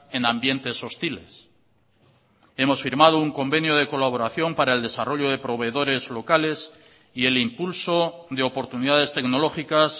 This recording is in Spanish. en ambientes hostiles hemos firmado un convenio de colaboración para el desarrollo de proveedores locales y el impulso de oportunidades tecnológicas